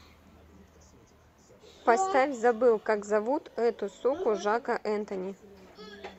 поставь забыл как зовут эту суку жака энтони